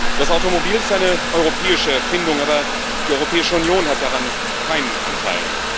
Das Automobil ist eine europäische Erfindung, aber die Europäische Union hat daran keinen Anteil.